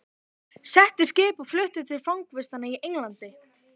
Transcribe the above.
Sett í skip og flutt til fangavistar í Englandi!